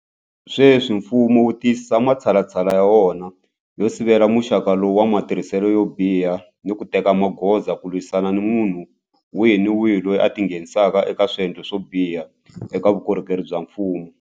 Sweswi mfumo wu tiyisisa matshalatshala ya wona yo sivela muxaka lowu wa matirhiselo yo biha ni ku teka magoza ku lwisana ni munhu wihi ni wihi loyi a tingheni saka eka swendlo swo biha eka vukorhokeri bya mfumo.